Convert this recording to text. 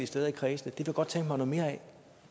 steder i kredsene det kunne tænke mig noget mere af